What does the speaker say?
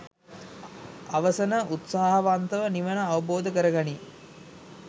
අවසන උත්සාහවන්තව නිවන අවබෝධ කරගනියි.